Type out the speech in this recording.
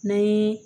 N'an ye